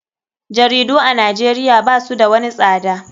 Jaridu a nijeria basu da wani tsada.